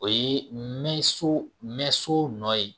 O ye mɛn so mɛn so nɔ ye